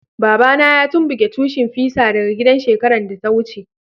Baba na ya tumbuke tushin fisa daga gidan shekaran da ta wuce.